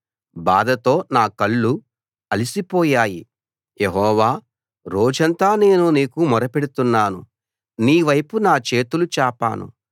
బాధతో నా కళ్ళు అలసిపోయాయి యెహోవా రోజంతా నేను నీకు మొరపెడుతున్నాను నీవైపు నా చేతులు చాపాను